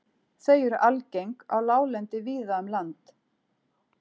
Þau eru algeng á láglendi víða um land.